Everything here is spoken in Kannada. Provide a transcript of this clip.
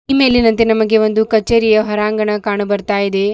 ಈ ಮೇಲಿನಂತೆ ನಮಗೆ ಕಚೇರಿಯ ಹೊರಾಂಗಣ ಕಾಣ ಬರ್ತಾ ಇದೆ.